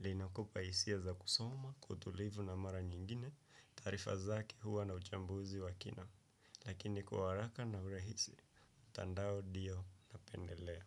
Linakupa hisia za kusoma kwa utulivu na mara nyingine taarifa zake huwa na uchambuzi wa kina. Lakini kwa haraka na urahisi, mtandao ndio napendelea.